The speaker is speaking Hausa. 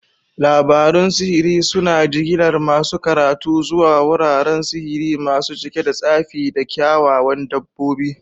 Labarun sihiri suna jigilar masu karatu zuwa wuraren sihiri masu cike da tsafi da kyawawan dabbobi.